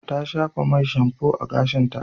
Ta shafa mai shamfo a gashinta.